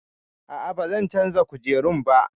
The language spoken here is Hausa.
A'a, ba zan canza kujerun ba